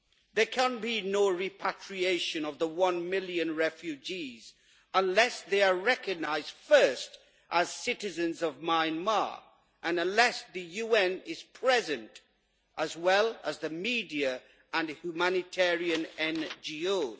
There can be no repatriation of the one million refugees unless they are recognised first as citizens of Myanmar and unless the UN is present as well as the media and humanitarian NGOs.